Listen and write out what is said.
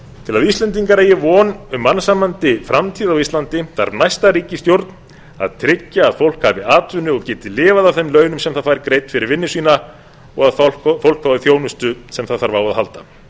til að íslendingar eigi von um mannsæmandi framtíð á íslandi þarf næsta ríkisstjórn að tryggja að fólk hafi atvinnu og geti lifað af þeim launum sem það fær greidd fyrir vinnu sína og fólk fái þjónustu sem það þarf á að halda